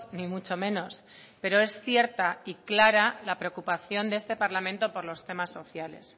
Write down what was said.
ni mucho menos pero es cierta y clara la preocupación de este parlamento por los temas sociales